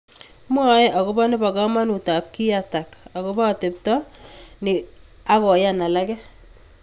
Mwoe akobo nebokamanut ab kiyatak akopo atepto ni akoyan alake.